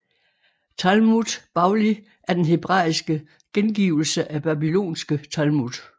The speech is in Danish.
Talmud Bavli er den hebraiske gengivelse af babylonske Talmud